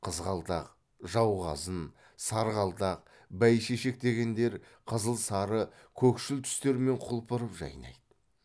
қызғалдақ жауқазын сарғалдақ бәйшешек дегендер қызыл сары көкшіл түстермен құлпырып жайнайды